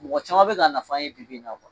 Mɔgɔ caman bɛ k'a nafa ye bibi in na